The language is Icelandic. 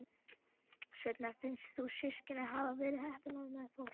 Svenna finnst þau systkinin hafa verið heppin með foreldra.